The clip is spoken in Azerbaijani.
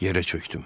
Yerə çöydüm.